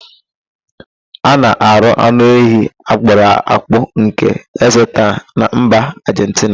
A na-arụ anụ ehi akwọrọ akwọ nke ekzeta na mba Ajentina.